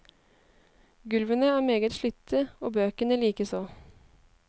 Gulvene er meget slitte, og bøkene likeså.